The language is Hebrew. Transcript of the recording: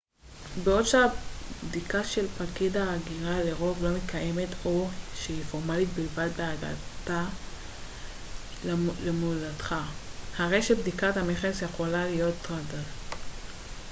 בעוד שהבדיקה של פקיד ההגירה לרוב לא מתקיימת או שהיא פורמלית בלבד בהגעה למולדתך הרי שבדיקת המכס יכולה להיות טרדה